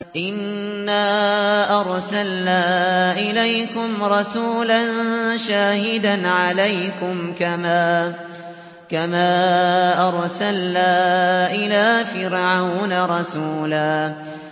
إِنَّا أَرْسَلْنَا إِلَيْكُمْ رَسُولًا شَاهِدًا عَلَيْكُمْ كَمَا أَرْسَلْنَا إِلَىٰ فِرْعَوْنَ رَسُولًا